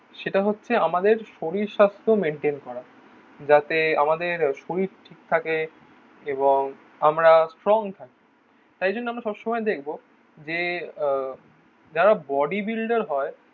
সেটা হচ্ছে আমাদের শরীর স্বাস্থ্য মেইনটেইন করা. যাতে আমাদের শরীর ঠিক থাকে এবং আমরা স্ট্রং থাকে. তাই জন্য আমরা সব সময় দেখবো যে আহ যারা বডি বিল্ডার হয়